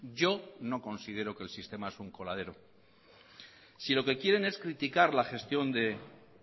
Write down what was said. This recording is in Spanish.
yo no considero que el sistema es un coladero si lo que quieren es criticar